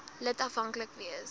lid afhanklik wees